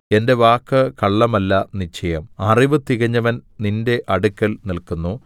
എന്റെ വാക്ക് കള്ളമല്ല നിശ്ചയം അറിവ് തികഞ്ഞവൻ നിന്റെ അടുക്കൽ നില്ക്കുന്നു